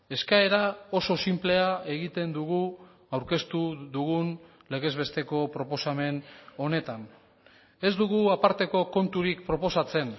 eskaera oso sinplea egiten dugu aurkeztu dugun legez besteko proposamen honetan ez dugu aparteko konturik proposatzen